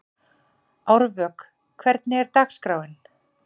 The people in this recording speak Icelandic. Árvök, hvernig er dagskráin?